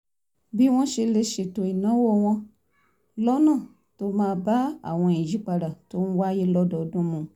bí wọ́n ṣe lè ṣètò ìnáwó wọn lọ́nà tó máa bá àwọn ìyípadà tó ń wáyé lọ́dọọdún mu